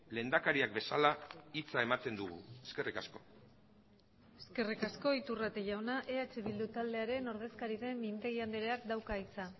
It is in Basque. lehendakariak bezala hitza ematen dugu eskerrik asko eskerrik asko iturrate jauna eh bildu taldearen ordezkari den mintegi andreak dauka hitza